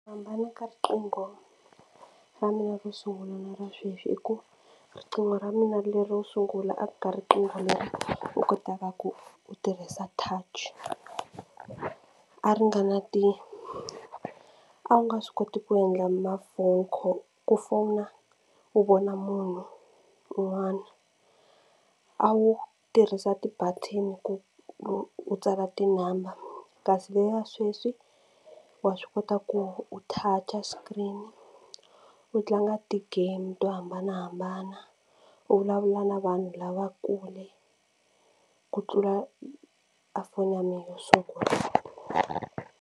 Ku hambana ka riqingho ra mina ro sungula na ra sweswi i ku riqingho ra mina lero sungula a ku nga riqingho leri u kotaka ku u tirhisa touch a ri nga na ti a wu nga swi koti ku endla mafoni ku fowuna u vona munhu un'wana a wu tirhisa ti-button ku u tsala tinambara kasi leya sweswi wa swi kota ku u touch screen u tlanga ti-game to hambanahambana u vulavula na vanhu lava kule ku tlula a foni ya mina yo sungula.